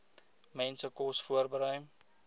mense kos voorberei